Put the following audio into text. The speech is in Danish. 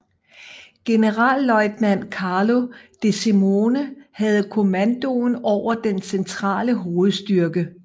Generalløjtnant Carlo De Simone havde kommandoen over den centrale hovedstyrke